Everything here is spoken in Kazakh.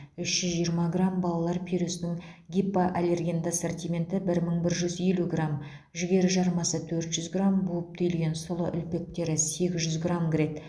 үш жүз жиырма грамм балалар пюресінің гипоаллергенді ассортименті бір мың бір жүз елу грамм жүгері жармасы төрт жүз грамм буып түйілген сұлы үлпектері сегіз жүз грамм кіреді